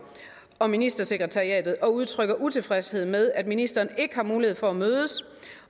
og ministersekretariatet og udtrykket utilfredshed med at ministeren ikke har mulighed for at mødes